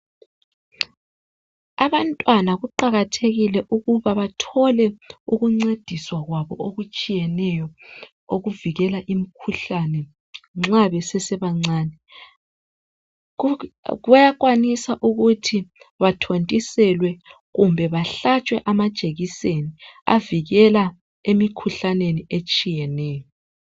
Abantwana kuqakathekile ukuba bathole ukuncediswa kwabo okutshiyeneyo okuvikela imkhuhlane nxa besesebancane bayakwanisa ukuthi bathotiselwe kumbe bahlatshwe amajekiseni avikela emikhuhlaneni etshiyeneyo.